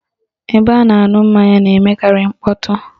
Ebe a na-aṅụ mmanya na-emekarị mkpọtụ